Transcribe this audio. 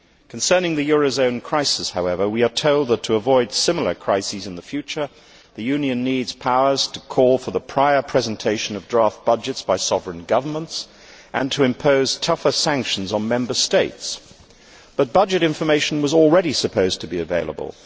Concerning the eurozone crisis, however, we are told that, to avoid similar crises in the future, the Union needs powers to call for the prior presentation of draft budgets by sovereign governments and to impose tougher sanctions on Member States but budget information was already supposed to be available